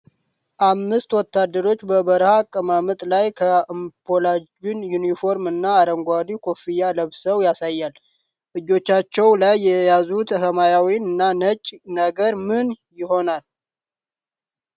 አምስት ወታደሮችን በበረሃ አቀማመጥ ላይ፣ ካምፓላጅ ዩኒፎርም እና አረንጓዴ ኮፍያ ለብሰው ያሳያል። እጆቻቸው ላይ የያዙት ሰማያዊና ነጭ ነገር ምን ይሆን?